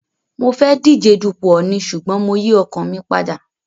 Mo fẹ́ díje dupò ọọ̀ni ṣùgbọ́n mo yín ọkàn mi padà.